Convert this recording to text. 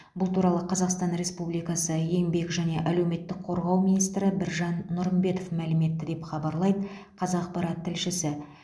бұл туралы қазақстан республикасы еңбек және әлеуметтік қорғау министрі біржан нұрымбетов мәлім етті деп хабарлайды қазақпарат тілшісі